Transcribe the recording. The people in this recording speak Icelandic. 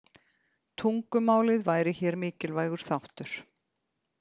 Tungumálið væri hér mikilvægur þáttur.